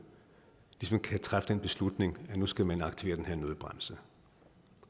ligesom kan træffe en beslutning at nu skal man aktivere den her nødbremse